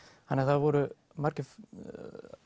þannig að það voru